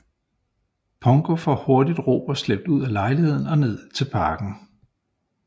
Pongo får hurtigt Robert slæbt ud af lejligheden og ned til parken